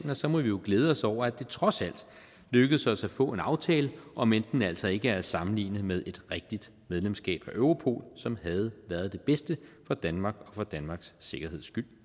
så må vi jo glæde os over at det trods alt lykkedes os at få en aftale omend den altså ikke er at sammenligne med et rigtigt medlemskab af europol som havde været det bedste for danmark og for danmarks sikkerhed